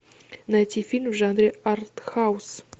найти фильм в жанре арт хаус